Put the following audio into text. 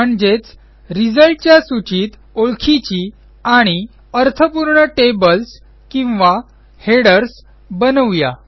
म्हणजेच रिझल्टच्या सूचीत ओळखीची आणि अर्थपूर्ण लेबल्स किंवा हेडर्स बनवू या